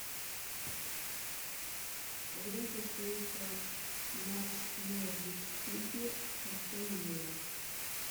когда состоится матч норвич сити астон вилла